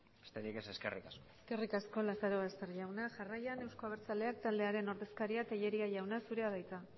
besterik ez eskerrik asko eskerrik asko lazarobaster jauna jarraian euzko abertzaleak taldearen ordezkaria den tellería jauna zurea da hitza